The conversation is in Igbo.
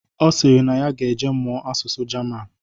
Ọ sịrị na ya ga-eje mụọ asụsụ Jaman